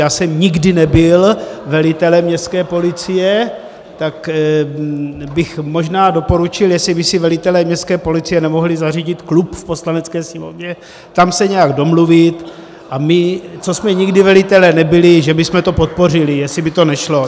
Já jsem nikdy nebyl velitelem městské policie , tak bych možná doporučil, jestli by si velitelé městské policie nemohli zařídit klub v Poslanecké sněmovně, tam se nějak domluvit , a my, co jsme nikdy velitelé nebyli, že bychom to podpořili, jestli by to nešlo.